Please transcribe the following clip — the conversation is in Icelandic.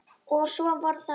Og svo voru það lömbin.